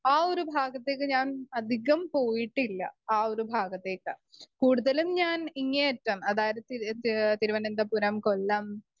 Speaker 1 ആ ഒരു ഭാഗത്തേക്ക് ഞാൻ അധികം പോയിട്ടില്ല ആ ഒരു ഭാഗത്തേക്ക്. കൂടുതലും ഞാൻ ഇങ്ങേ അറ്റം അതായത് തിര് തിരുവന്തപുരം, കൊല്ലം